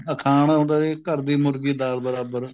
ਅਖਾਣ ਹੁੰਦਾ ਸੀ ਘਰ ਦੀ ਮੁਰਗੀ ਦਾਲ ਬਰਾਬਰ